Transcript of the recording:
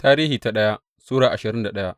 daya Tarihi Sura ashirin da daya